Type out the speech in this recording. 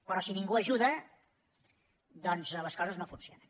però si ningú ajuda doncs les coses no funcionen